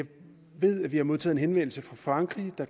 vi har modtaget en henvendelse fra frankrig om at